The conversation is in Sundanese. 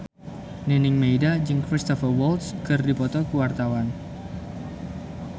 Nining Meida jeung Cristhoper Waltz keur dipoto ku wartawan